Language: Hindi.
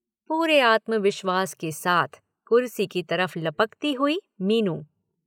पूरे आत्मविश्वास के साथ कुर्सी की तरफ़ लपकती हुई मीनू।